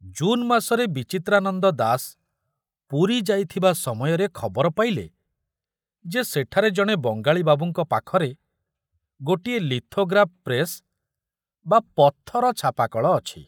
ଜୁନ ମାସରେ ବିଚିତ୍ରାନନ୍ଦ ଦାସ ପୁରୀ ଯାଇଥିବା ସମୟରେ ଖବର ପାଇଲେ ଯେ ସେଠାରେ ଜଣେ ବଙ୍ଗାଳୀ ବାବୁଙ୍କ ପାଖରେ ଗୋଟିଏ ଲିଥୋଗ୍ରାଫ ପ୍ରେସ ବା ପଥର ଛାପାକଳ ଅଛି।